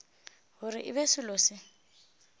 gore e be selo se